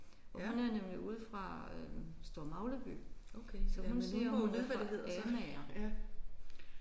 Og hun er nemlig ude fra øh Store Magleby så hun siger hun er fra Amager